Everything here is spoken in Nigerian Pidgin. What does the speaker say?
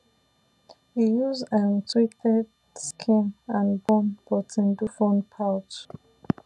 e use um treated skin and bone button do phone pouch